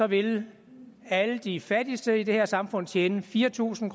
vil alle de fattigste i det her samfund tjene fire tusind